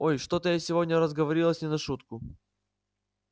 ой что-то я сегодня разговорилась не на шутку